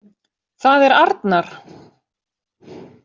Það er arnar.